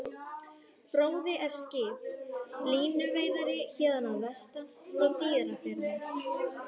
Fróði er skip, línuveiðari héðan að vestan, frá Dýrafirði.